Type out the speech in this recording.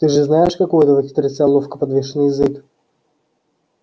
ты же знаешь как у этого хитреца ловко подвешен язык